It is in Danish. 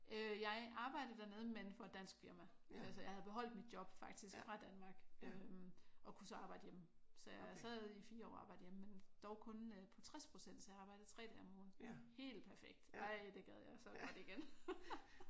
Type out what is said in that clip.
Øh jeg arbejdede dernede men for et dansk firma. Altså jeg havde beholdt mit job faktisk fra Danmark øh og kunne så arbejde hjemme. Så jeg sad i 4 år og arbejdede hjemme men dog kun på 60% så jeg arbejdede 3 dage om ugen. Helt perfekt ej det gad jeg så godt igen